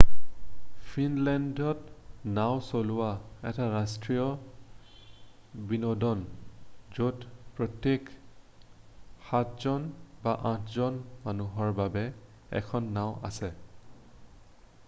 ফিনলেণ্ডত নাওঁ চলোৱা এটা ৰাষ্ট্ৰীয় বিনোদন য'ত প্ৰত্যেক সাতজন বা আঠজন মানুহৰ বাবে এখন নাওঁ আছে